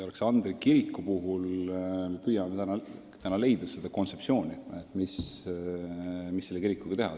Aleksandri kiriku puhul püüame leida üldist kontseptsiooni, mida selle kirikuga teha.